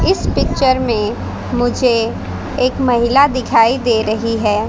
इस पिक्चर में मुझे एक महिला दिखाई दे रही है।